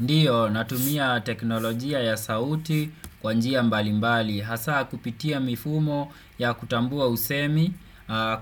Ndio natumia teknolojia ya sauti kwa njia mbali mbali hasa kupitia mifumo ya kutambua usemi,